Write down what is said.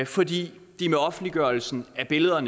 fordi de med offentliggørelsen af billedet